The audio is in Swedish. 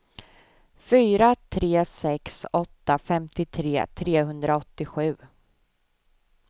fyra tre sex åtta femtiotre trehundraåttiosju